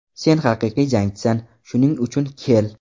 Sen haqiqiy jangchisan, shuning uchun kel.